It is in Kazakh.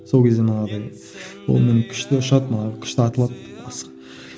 сол кезде манағыдай онымен күшті ұшады күшті атылады асық